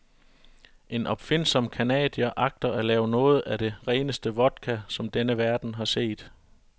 En opfindsom canadier agter at lave noget af det reneste vodka, som denne verden har set.